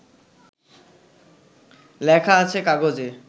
লেখা আছে কাগজে